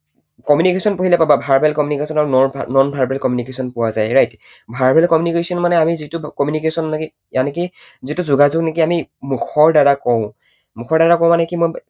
Communication পঢ়িলে পাবা, verbal communication আৰু non verbal পোৱা যায় right? verbal communication মানে আমি যিটো communication লাগে যিটো যোগাযোগ নেকি আমি মুখৰ দ্বাৰা কওঁ, মুখৰ দ্বাৰা কওঁ মানে কি